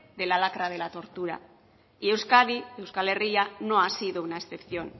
de la lacra de la tortura y euskadi euskal herria no ha sido una excepción